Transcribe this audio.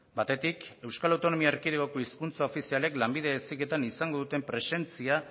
batetik euskal autonomia erkidegoko hizkuntza ofizialek lanbide heziketan izango duten presentzia